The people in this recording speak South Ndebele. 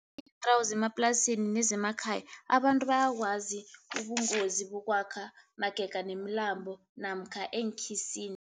zemaplasini nezemakhaya abantu bayakwazi ubungozi bokwakha magega nemilambo namkha eenkhisini.